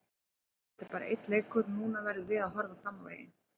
Þetta er bara einn leikur og núna verðum við að horfa fram á veginn.